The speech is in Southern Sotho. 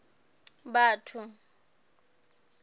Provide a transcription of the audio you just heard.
batho